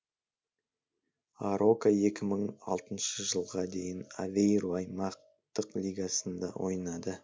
арока екі мың алтыншы жылға дейін авейру аймақтық лигасында ойнады